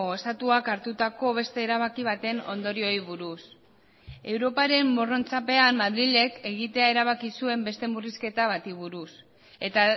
estatuak hartutako beste erabaki baten ondorioei buruz europaren morrontzapean madrilek egitea erabaki zuen beste murrizketa bati buruz eta